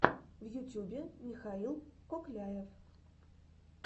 в ютюбе михаил кокляев